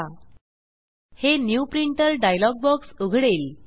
हे new printer new printer dialog box उघडेल